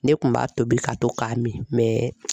Ne kun m'a tobi ka to k'a min